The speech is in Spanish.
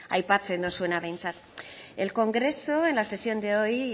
aipatzen duzuena behintzat el congreso en la sesión de hoy